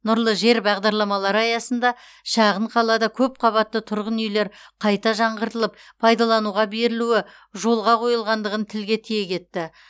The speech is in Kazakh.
нұрлы жер бағдарламалары аясында шағын қалада көпқабатты тұрғын үйлер қайта жаңғыртылып пайдалануға берілуі жолға қойылғандығын тілге тиек етті